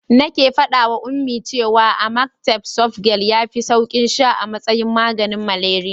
Nake faɗawa Ummi cewa amatem softgel yafi saukin sha a matsayin maganin malaria.